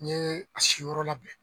N'i ye a siyɔrɔ labɛn